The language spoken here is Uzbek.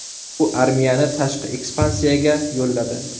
U armiyani tashqi ekspansiyaga yo‘lladi.